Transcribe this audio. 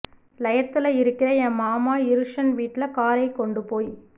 லயத்துல இருக்கிற என் மாமா இருசன் வீட்டுலக் காரைக் கொண்டு போயி